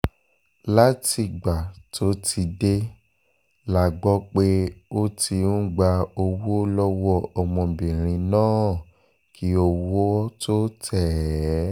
látìgbà tó ti dé la gbọ́ pé ó ti ń gba owó lọ́wọ́ ọmọbìnrin náà kí owó tóó tẹ̀ ẹ́